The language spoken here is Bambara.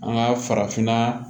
An ka farafinna